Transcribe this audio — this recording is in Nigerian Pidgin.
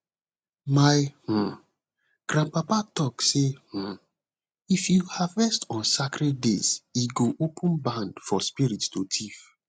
my um grandpapa talk say um if you harvest on sacred days e go open barn for spirit to thief